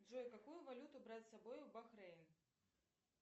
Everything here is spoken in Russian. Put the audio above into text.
джой какую валюту брать с собой в бахрейн